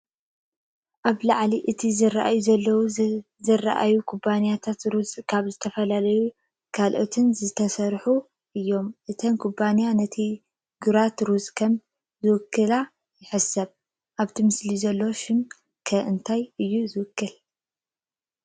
ኣብ ልዕሊ እቲ ዝራኣዩ ዘለው ዝተርኣዩ ኩባያታት ሩዝ ካብ ዝተፈላለዩ ክኢላታት ዝተሰርሑ እዮም። እተን ኩባያታት ነቲ ግራት ሩዝ ከም ዝውክላ ይሕሰብ። ኣብቲ ምስሊ ዘሎ ሽም ከ እንታይ እዩ ዝውክል?